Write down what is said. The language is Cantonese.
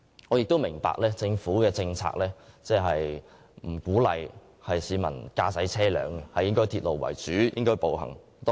我們亦明白，政府政策並不鼓勵市民駕車，而應以鐵路及步行為主。